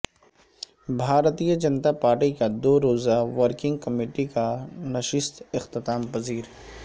بھارتیہ Janata party کا دو روزہ ورکنگ کمیٹی کا نشست اختتام پذیر